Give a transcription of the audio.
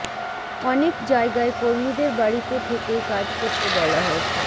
অনেক জায়গায় কর্মীদের বাড়িতে থেকেই কাজ করতে বলা হয়েছে